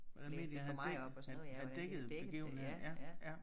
Hvordan medierne havde dæk havde havde dækket begivenheden ja ja